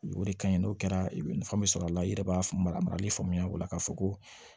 O de ka ɲi n'o kɛra i bɛ nafa min sɔrɔ a la i yɛrɛ b'a faamu a marali faamuya o la k'a fɔ ko